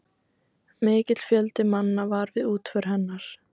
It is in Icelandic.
Mikill fjöldi manna var við útför hennar.